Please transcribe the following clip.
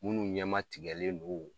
Munnuw ɲama tigɛlen do o